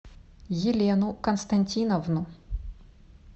елену константиновну